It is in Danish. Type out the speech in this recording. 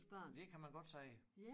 Det kan man godt sige